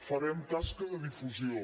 farem tasca de difusió